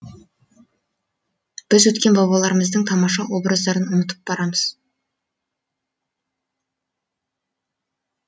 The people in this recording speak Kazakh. біз өткен бабаларымыздың тамаша образдарын ұмытып барамыз